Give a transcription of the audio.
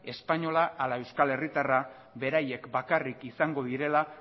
espainola ala euskal herritarra beraiek bakarrik izango direla